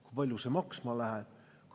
Kui palju see maksma läheb?